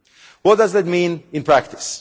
What does that mean in practice?